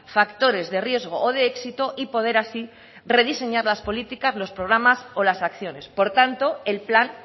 factores de riesgo o de éxito y poder así rediseñar las políticas los programas o las acciones por lo tanto el plan